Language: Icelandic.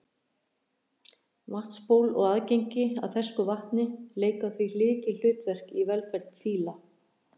vatnsból og aðgengi að fersku vatni leika því lykilhlutverk í velferð fíla